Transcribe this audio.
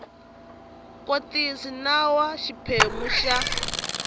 kotisa nawu wa xiphemu xa